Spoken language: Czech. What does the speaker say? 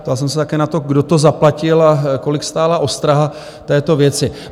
Ptal jsem se také na to, kdo to zaplatil a kolik stála ostraha této věci.